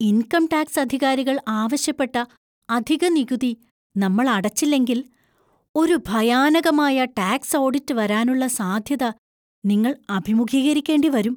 Income tax അധികാരികൾ ആവശ്യപ്പെട്ട അധിക നികുതി നമ്മൾ അടച്ചില്ലെങ്കിൽ, ഒരു ഭയാനകമായ ടാക്സ് ഓഡിറ്റ് വരാനുള്ള സാധ്യത നിങ്ങൾ അഭിമുഖീകരിക്കേണ്ടി വരും.